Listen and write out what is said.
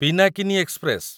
Pinakini express